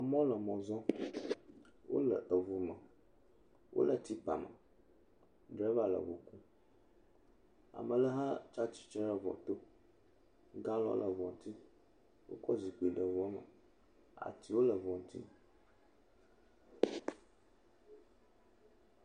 Amewo le mɔ zɔm. wole eŋu me. Wole tsi kpam. Drava le ŋu kum. Ame aɖe hã etsitre ɖe eŋua to. Galɔni le ŋua ŋuti. Wokɔ zikpui ɖe eŋua me. Atiwo le eŋua ŋuti.